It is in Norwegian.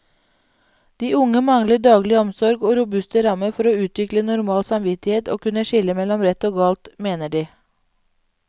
De unge mangler daglig omsorg og robuste rammer for å utvikle normal samvittighet og kunne skille mellom rett og galt, mener de.